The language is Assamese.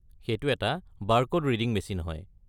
সেইটো এটা বাৰকোড-ৰিডিং মেচিন হয়।